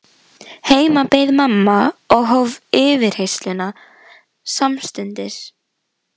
Heima beið mamma og hóf yfirheyrsluna samstundis.